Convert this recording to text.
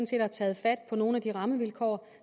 set har taget fat på nogle af de rammevilkår